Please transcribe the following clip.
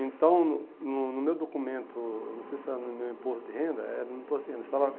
Então, no no meu documento, não sei se era no meu imposto de renda, era no imposto de renda. Estava